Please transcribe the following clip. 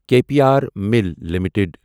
K P R mill limited